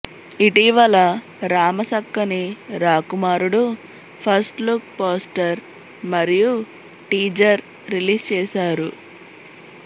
ఇటీవల Ramasakkani Rakumarudu first look poster మరియు teaser release చేసారు